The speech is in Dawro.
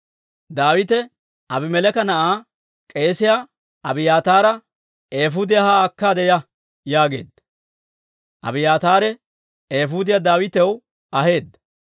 Daawite Abimeleeka na'aa k'eesiyaa Abiyaataara, «Eefuudiyaa haa akkaade ya» yaageedda; Abiyaataare eefuudiyaa Daawitaw aheedda.